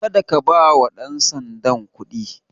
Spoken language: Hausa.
Kada ka bawa ɗan sandan kuɗi.